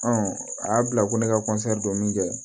a y'a bila ko ne ka don min kɛ